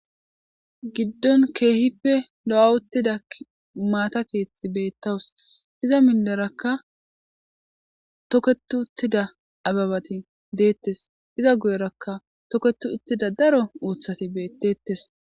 Giddon kehippe lo'awuttida maata keththi betawus izza mideraka toketiuttida abebati detes iza guyeraka toketiuttida daro uththatti beetetes.